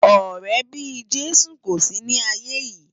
Òrè bi Jesu kó si ni áiyé yi